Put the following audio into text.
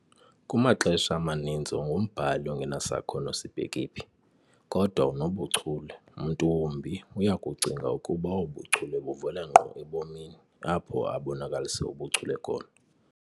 Kumaxesha amaninzi ungumbhali ongenasakhono sibheke phi, kodwa unobuchule, mntu wumbi uyakucinga ukuba obo buchule buvela ngqo ebomini, apho abonakalise ubuchule khona.